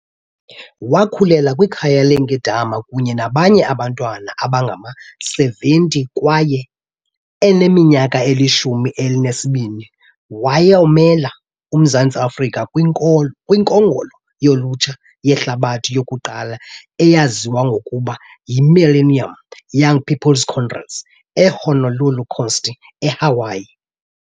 Wakhulela kwikhaya leenkedama kunye nabanye abantwana abangama-70 kwaye eneminyaka elishumi elinesibini wayomela uMzantsi Afrika kwiNkongolo yoLutsha yeHlabathi yokuqala eyaziwa ngokuba yiMillennium Young People's Congress eHonolulu County, eHawaii.